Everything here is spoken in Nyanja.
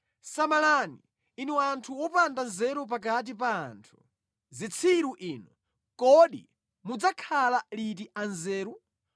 Samalani, inu anthu opanda nzeru pakati pa anthu; zitsiru inu, kodi mudzakhala liti anzeru?